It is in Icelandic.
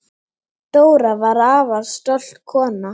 Dóra var afar stolt kona.